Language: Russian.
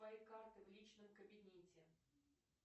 мои карты в личном кабинете